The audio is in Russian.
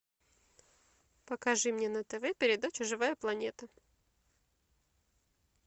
покажи мне на тв передачу живая планета